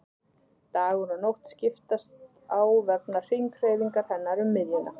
Dagur og nótt skiptast á vegna hringhreyfingar hennar um miðjuna.